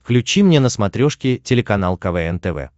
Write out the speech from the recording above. включи мне на смотрешке телеканал квн тв